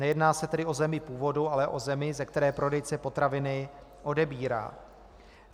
Nejedná se tedy o zemi původu, ale o zemi, ze které prodejce potraviny odebírá.